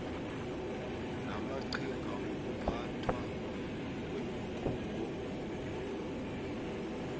lamaqhinga lokuphathwa kweenkhungo